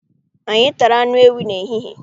Anyị tara anụ ewii n'ehihie.